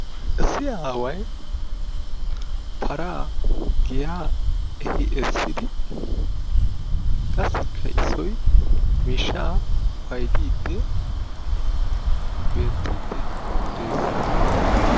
Issi aaway paraa giyaa efi essidi qassikka issoy miishshaa paydid beettidi dees.